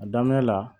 A daminɛ la